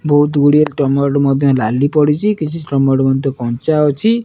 ବହୁତ ଗୁଡ଼ିଏ ଟମାଟୋ ମଧ୍ୟ ନଳୀ ପଡିଛି କିଛି ଟମାଟୋ କଞ୍ଚା ଅଛି।